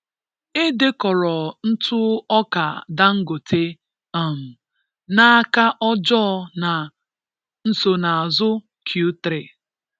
E dekọrọ ntụ ọka Dangote um n'aka ọjọọ na nsonaazụ Q3.